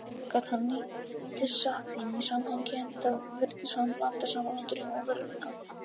Gat hann lítið sagt þeim í samhengi, enda virtist hann blanda saman draumi og veruleika.